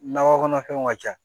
Nakɔ kɔnɔfɛnw ka ca